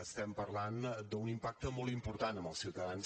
estem parlant d’un impacte molt important en els ciutadans